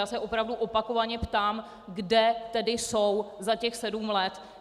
Já se opravdu opakovaně ptám: kde tedy jsou za těch sedm let?